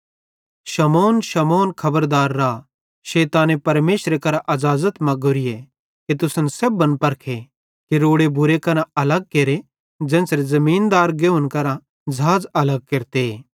शमौन शमौन खबरदार रा शैताने परमेशरे करां अज़ाज़त मग्गोरीए कि तुसन सेब्भन परखे कि रोड़े बूरे करां अलग केरे ज़ेन्च़रे ज़मीनदार गेहुंन करां झ़ाझ़ अलग केरते